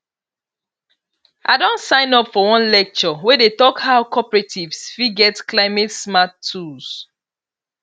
i don sign up for one lecture wey dey talk how cooperatives fit get climatesmart tools